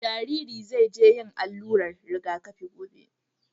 Jariri zai je yin allurar rigakafi gobe.